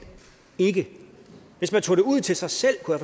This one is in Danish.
ikke hvis man tog det ud til sig selv kunne